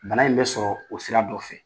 Bana in bɛ sɔrɔ o sira dɔ fɛ.